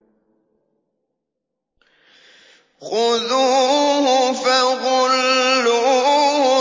خُذُوهُ فَغُلُّوهُ